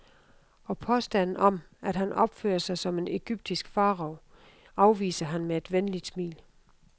Og påstanden om, at han opfører sig som en egyptisk farao afviser han med et venligt smil.